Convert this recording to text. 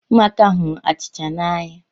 Ụmụaka hụrụ achịcha n’anya